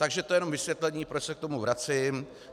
Takže to je jen vysvětlení, proč se k tomu vracím.